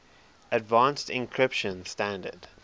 advanced encryption standard